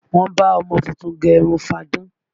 Wọ́n bá ọmọ tuntun gẹ irun fáadán